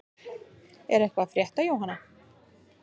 Er eitthvað að frétta Jóhanna?